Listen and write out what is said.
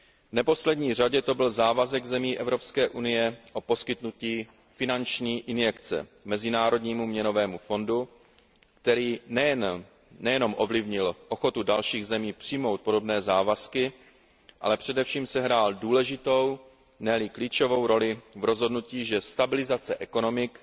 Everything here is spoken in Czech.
V neposlední řadě to byl závazek zemí EU o poskytnutí finanční injekce Mezinárodnímu měnovému fondu, který nejen ovlivnil ochotu dalších zemí přijmout podobné závazky, ale především sehrál důležitou, ne li klíčovou roli v rozhodnutí, že stabilizace ekonomik,